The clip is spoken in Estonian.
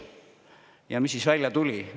Ja mis siis välja tuli?